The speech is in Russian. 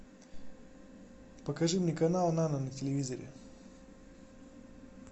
покажи мне канал нано на телевизоре